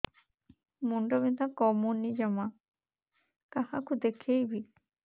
ମୁଣ୍ଡ ବିନ୍ଧା କମୁନି ଜମା କାହାକୁ ଦେଖେଇବି